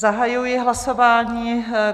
Zahajuji hlasování.